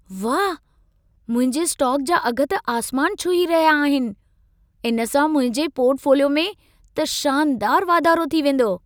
वाह, मुंहिंजे स्टॉक जा अघ त आसमान छुही रहिया आहिनि! इन सां मुंहिंजे पॉर्टफोलियो में त शानदार वाधारो थीं वेंदो।